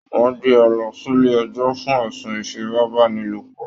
Wọn gbé e lọ sílé ẹjọ fún ẹ̀sùn ifipabanilopọ